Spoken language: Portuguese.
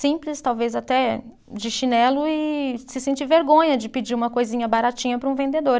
Simples, talvez até de chinelo e se sentir vergonha de pedir uma coisinha baratinha para um vendedor.